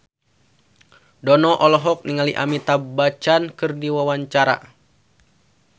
Dono olohok ningali Amitabh Bachchan keur diwawancara